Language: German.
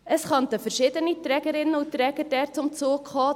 Es könnten dort verschiedene Trägerinnen und Träger zum Zug kommen.